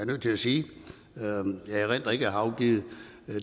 nødt til at sige jeg erindrer ikke at jeg har afgivet